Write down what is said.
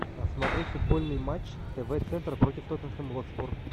смотреть футбольный матч тв центр против тоттенхэм хотспур